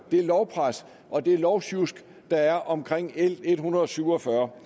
lovpres og det lovsjusk der er om l en hundrede og syv og fyrre